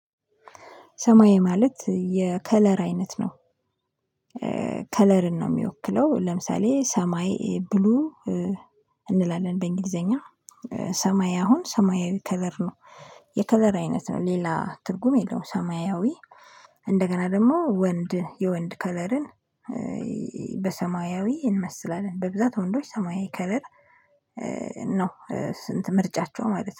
ሰማይ ማለት የከለር አይነት ነው። ከለርን ነው የሚወክለው ለምሳሌ ሰማይ ብሉ እንላለን በእንግሊዘኛ ሰማይ አሁን ሰማይ ከለር ነው። የከለር አይነት ነው ሌላ ትርጉም የለውም ሰማያዊ። እንደገና ደግሞ ወንድ የወንድ ከለርን። በሰማያዊ እንመስላለን በብዛት ወንዶች ሰማያዊ ከለር። ነው ስንት ምርጫቸው ማለት ነው